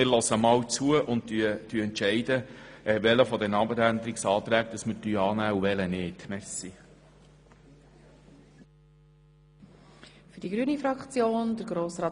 Wir hören einmal zu und entscheiden dann, welche der Abänderungsanträge wir annehmen und welche nicht.